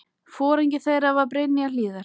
Foringi þeirra var Brynja Hlíðar.